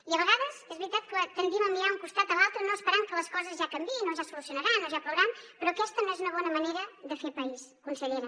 i a vegades és veritat que tendim a mirar a un costat i a l’altre no esperant que les coses ja canviïn o ja es solucionaran o ja plourà però aquesta no és una bona manera de fer país consellera